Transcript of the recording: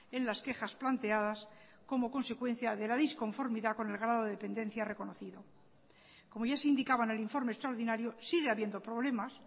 en las quejas planteadas como consecuencia de la disconformidad con el grado de dependencia reconocido como ya se indicaba en el informe extraordinario sigue habiendo problemas